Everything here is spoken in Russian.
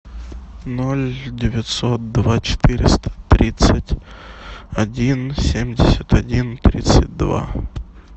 ноль девятьсот два четыреста тридцать один семьдесят один тридцать два